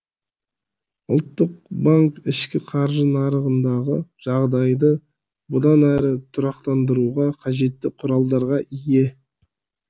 ұлттық банк ішкі қаржы нарығындағы жағдайды бұдан әрі тұрақтандыруға қажетті құралдарға ие